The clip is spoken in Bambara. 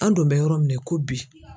An dun bɛ yɔrɔ min na i ko bi.